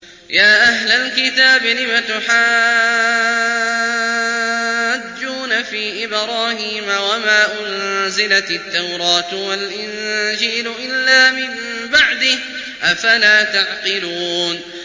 يَا أَهْلَ الْكِتَابِ لِمَ تُحَاجُّونَ فِي إِبْرَاهِيمَ وَمَا أُنزِلَتِ التَّوْرَاةُ وَالْإِنجِيلُ إِلَّا مِن بَعْدِهِ ۚ أَفَلَا تَعْقِلُونَ